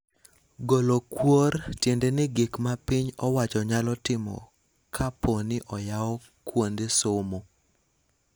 Golo kuor tiende ni gik ma piny owacho nyalo timo kapooni oyaw kuonde somo